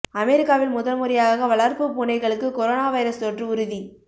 அமெரிக்காவில் முதல் முறையாக வளர்ப்பு பூனைகளுக்கு கொரோனா வைரஸ் தொற்று உறுதி